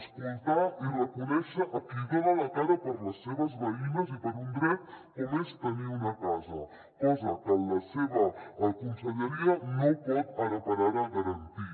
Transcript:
escoltar i reconèixer a qui dona la cara per les seves veïnes i per un dret com és tenir una casa cosa que la seva conselleria no pot ara per ara garantir